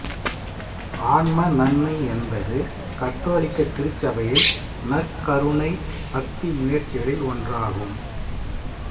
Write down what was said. ஆன்ம நன்மை என்பது கத்தோலிக்க திருச்சபையில் நற்கருணை பக்திமுயற்சிகளில் ஒன்றாகும்